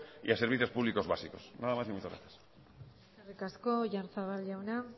y a servicios públicos básicos nada más y muchas gracias eskerrik asko oyarzabal jauna